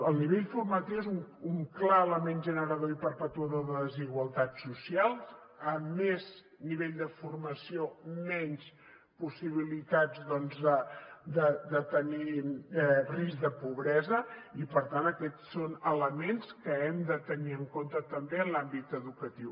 el nivell formatiu és un clar element generador i perpetuador de desigualtats socials a més nivell de formació menys possibilitats doncs de tenir risc de pobresa i per tant aquests són elements que hem de tenir en compte també en l’àmbit educatiu